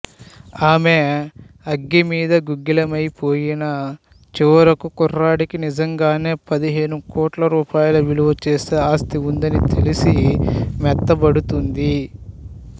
ఆమె అగ్గిమీద గుగ్గిలమైపోయినా చివరకు కుర్రాడికి నిజంగానే పదిహేను కోట్ల రూపాయలు విలువచేసే ఆస్తివుందని తెలిసి మెత్తబడుతుంది